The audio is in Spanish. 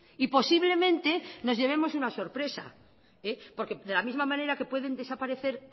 y posiblemente nos llevemos una sorpresa porque de la misma manera que pueden desaparecer